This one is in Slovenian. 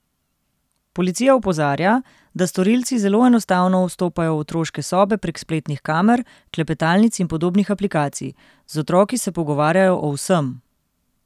Policija opozarja, da storilci zelo enostavno vstopajo v otroške sobe prek spletnih kamer, klepetalnic in podobnih aplikacij: 'Z otroki se pogovarjajo o vsem.